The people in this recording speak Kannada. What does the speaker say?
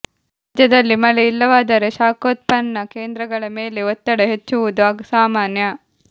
ರಾಜ್ಯದಲ್ಲಿ ಮಳೆ ಇಲ್ಲವಾದರೆ ಶಾಖೋತ್ಪನ್ನ ಕೇಂದ್ರಗಳ ಮೇಲೆ ಒತ್ತಡ ಹೆಚ್ಚುವುದು ಸಾಮಾನ್ಯ